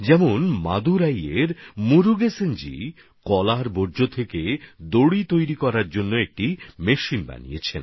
যেমন মাদুরাইয়ের মুরুগেসনজি কলার বর্জ্য থেকে দড়ি বানানোর একটা মেশিন তৈরি করেছেন